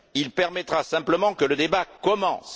Il permettra simplement que le débat commence.